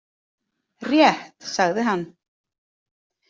Rétt, sagði hann.